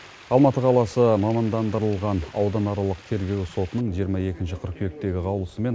алматы қаласы мамандандырылған ауданаралық тергеу сотының жиырма екінші қыркүйектегі қаулысымен